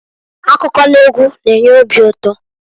Akụkọ n'egwu na-enye obi ụtọ.